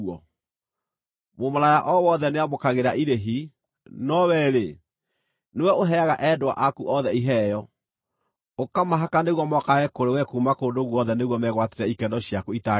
Mũmaraya o wothe nĩamũkagĩra irĩhi, no wee-rĩ, nĩwe ũheaga endwa aku othe iheo, ũkamahaka nĩguo mokage kũrĩ we kuuma kũndũ guothe nĩguo megwatĩre ikeno ciaku itaagĩrĩire.